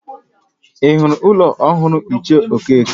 Ị hụla ụlọ ọhụrụ ichie Okeke?